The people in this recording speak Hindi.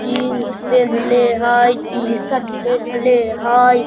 जीन्स पहेनले हय टी-शर्ट पहेनले हय।